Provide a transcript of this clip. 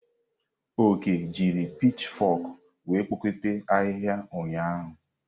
Oke jiri pitchfok were kpokọta ahihia ụnyahụ.